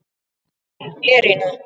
Þín Írena.